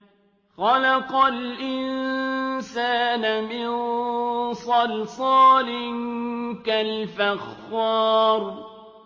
خَلَقَ الْإِنسَانَ مِن صَلْصَالٍ كَالْفَخَّارِ